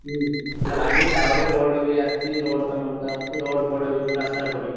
ହୁଁ ସେଗୁଡା ବାଗେଇ ଟା ଉପରେ ରଡ ବି ଆସିଛି ରଡ ପାଇଁ ଅଲଗା ଆସିଛି ରଡ ଫଡ ଏବେ ସବୁ ରାସ୍ତାରେ ପଡୁଛି।